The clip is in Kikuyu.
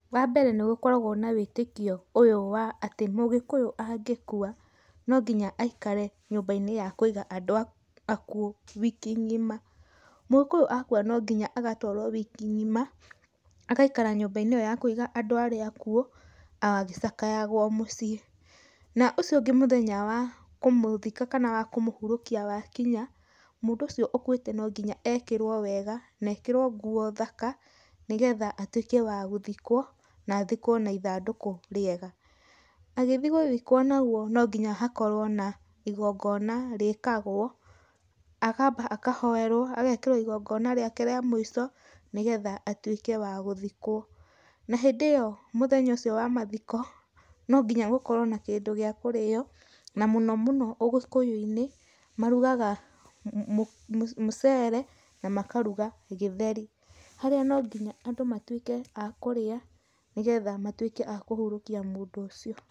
Wambere nĩgũkoragwo na wĩtĩkio ũyũ wa atĩ mũgĩkũyũ angĩkua no nginya aikare nyũmba-inĩ ya kũiga andũ akuũ wiki ng'ima. Mũgĩkũyũ akua nonginya agatwarwo wiki ng'ima, agaikara nyũmba-inĩ ĩyo ya kũiga andũ arĩa akuũ agĩcakayagwo mũciĩ. Na ũcio ũngĩ mũthenya wa kũmũthika kana wa kũmũhurũkia wakinya, mũndũ ũcio ũkuĩte nonginya ekĩrwo wega, nekĩrwo nguo thaka nĩgetha atuĩke wa gũthikwo na athikwo na ithandũkũ rĩega. Agĩthiĩ gũthikwo nagwo nonginya hakorwo na igongona rĩkagwo, akamba akahoerwo, agekĩrwo igongona rĩake rĩa mũico nĩgetha atuĩke wa gũthikwo. Na hĩndĩ ĩyo mũthenya ũcio wa mathiko nonginya gũkorwo na kĩndũ gĩa kũrĩywo, na mũno mũno ũgĩkũyũ-inĩ marugaga muceere na makaruga gĩtheri, haria nonginya andũ matwike a kũrĩa nĩgetha matuĩke a kũhurũkia mũndũ ũcio.